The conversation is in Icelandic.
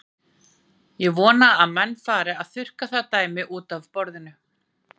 Ég vona að menn fari að þurrka það dæmi útaf borðinu.